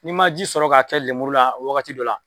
N'i ma ji sɔrɔ ka kɛ lemuru la wagati dɔ la